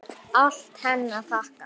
Allt henni að þakka.